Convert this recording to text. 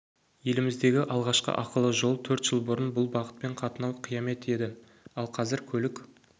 еліміздегі алғашқы ақылы жол төрт жыл бұрын бұл бағытпен қатынау қиямет еді ал қазір көлік